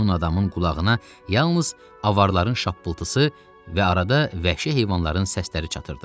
Meymun adamın qulağına yalnız avarların şapıltısı və arada vəhşi heyvanların səsləri çatırdı.